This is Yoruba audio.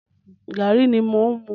Gàrí ni mò ń mu.